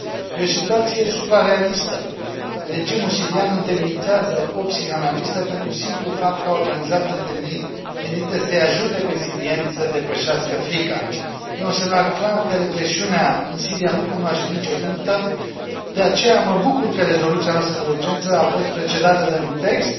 Este o situție suprarealistă, regimul sirian întemnițează opt psihanaliste pentru simplul fapt că au organizat întâlniri menite să i ajute pe sirieni să depășească frica. Este un semnal clar că represiunea în Siria nu cunoaște nicio limită, de aceea mă bucur că rezoluția noastră de urgență a fost precedată de un text